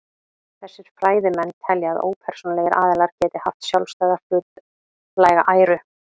Þessir fræðimenn telja að ópersónulegir aðilar geti haft sjálfstæða hlutlæga æru.